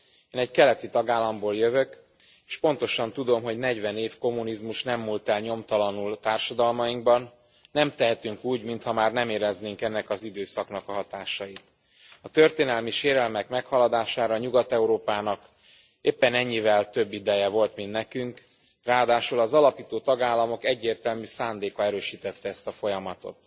Én egy keleti tagállamból jövök és pontosan tudom, hogy 40 év kommunizmus nem múlt el nyomtalanul társadalmainkban, nem tehetünk úgy, mintha már nem éreznénk ennek az időszaknak a hatásait. A történelmi sérelmek meghaladására Nyugat Európának éppen ennyivel több ideje volt, mint nekünk, ráadásul az alapító tagállamok egyértelmű szándéka erősítette ezt a folyamatot.